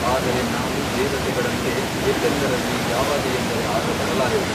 ಆದರೆ ನಾವು ದೇವತೆಗಳಂತೆ ಎಲ್ಲೆಂದರಲ್ಲಿ ಯಾವಾಗ ಎಂದರೆ ಆಗ ಬರಲಾರೆವು.